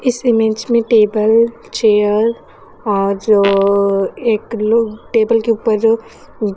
इस इमेज में table chair और जो एक लोग टेबल के ऊपर जो--